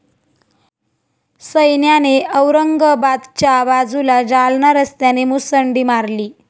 सैन्याने औरंगाबादच्या बाजूला जालना रस्त्याने मुसंडी मारली.